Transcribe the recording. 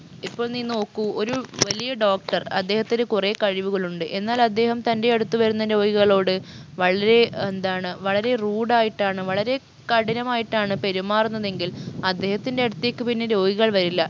ഇപ്പൊൾ നീ നോക്കു ഒരു വലിയ doctor അദ്ദേഹത്തിന് കുറേ കഴിവുകളുണ്ട് എന്നാൽ അദ്ദേഹം തൻറെയടുത്ത് വരുന്ന രോഗികളോട് വളരെ എന്താണ് വളരെ rude ആയിട്ടാണ് വളരെ കഠിനമായിട്ടാണ് പെരുമാറുന്നതെങ്കിൽ അദ്ദേഹത്തിൻറെ അടുത്തേക്ക് പിന്നെ രോഗികൾ വരില്ല